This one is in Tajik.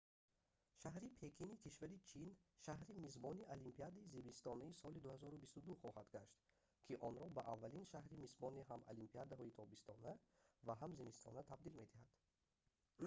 шаҳри пекини кишвари чин шаҳри мизбони олимпиадаи зимистонаи соли 2022 хоҳад гашт ки онро ба аввалин шаҳри мизбони ҳам олимпиадаҳои тобистона ва ҳам зимистона табдил медиҳад